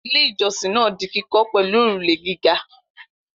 Ilé-ìjọsìn náà di kíkọ́ pẹ̀lú òrùlé gíga.